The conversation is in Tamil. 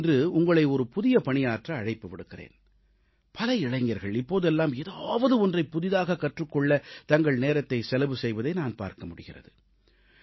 நான் இன்று உங்களை ஒரு புதிய பணியாற்ற அழைப்பு விடுக்கிறேன் பல இளைஞர்கள் இப்போதெல்லாம் ஏதாவது ஒன்றைப் புதிதாகக் கற்றுக்கொள்ள தங்கள் நேரத்தைச் செலவு செய்வதை நான் பார்க்க முடிகிறது